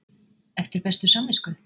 Eftir bestu samvisku?